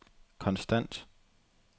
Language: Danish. konstant